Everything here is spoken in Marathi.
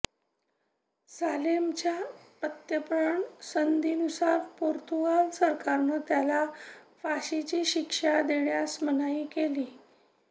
सालेमच्या प्रत्यर्पण संधीनुसार पोर्तुगाल सरकारनं त्याला फाशीची शिक्षा देण्यास मनाई केलीय